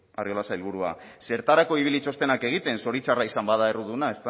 arriola sailburua zertarako ibili txostenak egiten zoritxarra izan bada erruduna